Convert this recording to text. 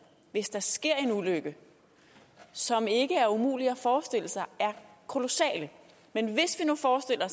hvis der sker en ulykke som ikke er umulig at forestille sig er kolossale men hvis vi nu forestiller